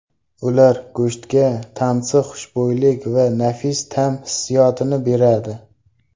Ular go‘shtga tansiq xushbo‘ylik va nafis ta’m hissiyotini beradi.